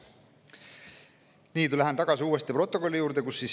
Nüüd lähen tagasi protokolli juurde.